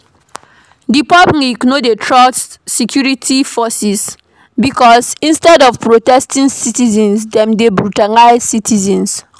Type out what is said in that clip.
Di public no dey trust security forces because instead of protecting citizens dem dey brutalize citizens